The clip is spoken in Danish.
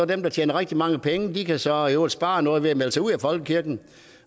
dem der tjener rigtig mange penge kan så i øvrigt spare noget ved at melde sig ud af folkekirken